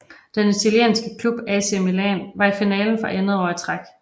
Den italienske klub AC Milan var i finalen for andet år i træk